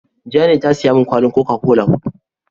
Jane ta siya min kwalin "coca-cola " hudu.